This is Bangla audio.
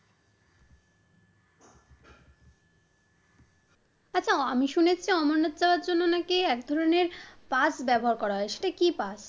আচ্ছা আমি শুনেছি অমরনাথ করার জন্য একধরনের পাত ব্যাবহার করা হয়, সেটা কি পাত?